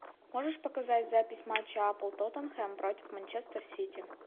можешь показать запись матча апл тоттенхэм против манчестер сити